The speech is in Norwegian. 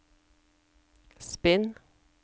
spinn